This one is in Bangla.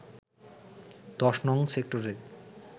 ১০নং সেক্টরের